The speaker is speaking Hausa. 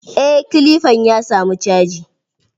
Eh kilifan ya samu caji.